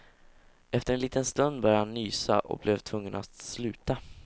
Efter en liten stund började han nysa och blev tvungen att sluta.